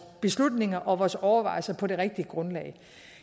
beslutninger og foretager vores overvejelser på det rigtige grundlag